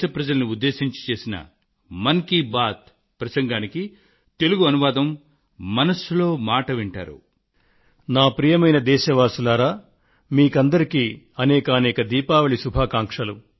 మీకందరికీ దీపావళి పండుగ సందర్భంగా నా హార్దిక శుభాకాంక్షలు